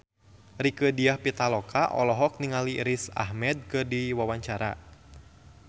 Rieke Diah Pitaloka olohok ningali Riz Ahmed keur diwawancara